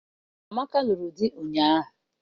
Amaka lụrụ di ụnyaahụ.